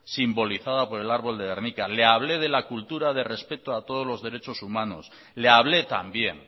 simbolizada por el árbol de gernika le hablé de la cultura de respeto a todos los derechos humanos le hablé también